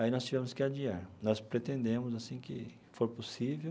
Aí nós tivemos que adiar, nós pretendemos assim que for possível,